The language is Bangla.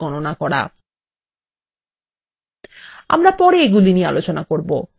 আমরা পরে এগুলি নিয়ে আলোচনা করব